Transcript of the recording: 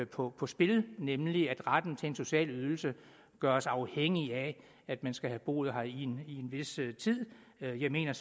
på på spil nemlig at retten til en social ydelse gøres afhængig af at man skal har boet her i en vis tid jeg mener